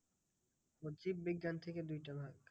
ও জীব বিজ্ঞান থেকে দুইটা ভাগ।